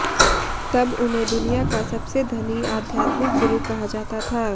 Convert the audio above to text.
तब उन्हें दुनिया का सबसे धनी आध्यात्मिक गुरु कहा जाता था